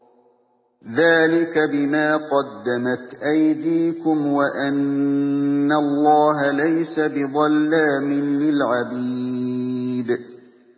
ذَٰلِكَ بِمَا قَدَّمَتْ أَيْدِيكُمْ وَأَنَّ اللَّهَ لَيْسَ بِظَلَّامٍ لِّلْعَبِيدِ